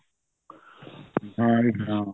ਹਾਂਜੀ ਹਾਂ